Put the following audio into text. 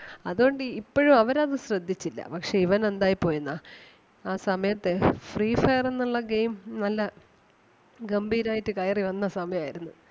അതുകൊണ്ട് ഇപ്പഴും അവര് അത് ശ്രദ്ധിച്ചില്ല. പക്ഷേ ഇവൻ എന്തായി പോയെന്നാേ ആ സമയത്ത് free fire എന്നൊള്ള game നല്ല ഗംഭീരായിട്ട് കയറി വന്ന സമയം ആരുന്ന്